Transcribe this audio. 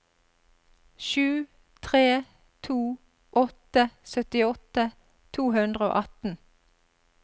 sju tre to åtte syttiåtte to hundre og atten